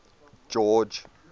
george